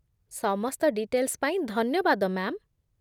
ସମସ୍ତ ଡିଟେଲ୍ସ ପାଇଁ ଧନ୍ୟବାଦ, ମ୍ୟା'ମ୍।